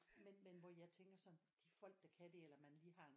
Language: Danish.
Men men hvor jeg tænker sådan de folk der kan det eller man lige har